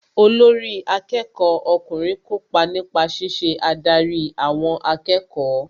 Olórí akẹ́kọ̀ọ́ ọkùnrin kópa nípa ṣíṣe adarí àwọn akẹ́kọ̀ọ́